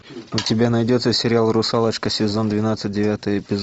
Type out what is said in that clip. у тебя найдется сериал русалочка сезон двенадцать девятый эпизод